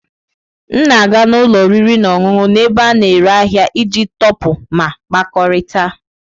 M na-aga n'ụlọ oriri na ọṅụṅụ n'ebe a na-ere ahịa iji tọpụ ma kpakọrịta.